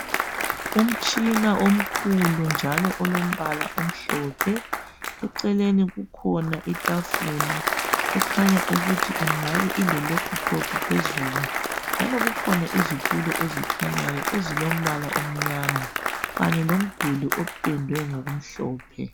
Umtshina omkhulu njalo olombala omhlophe. Eceleni kukhona itafula ekhanya ukuthi ingane ile laptop phezulu njalo kukhona izitulo ezikhanyayo ezilombala omnyama Kanye lomduli opendwe ngokumhlophe.